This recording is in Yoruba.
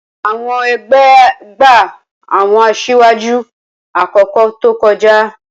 Awọn egbe gba awọn asiwaju akoko to koja.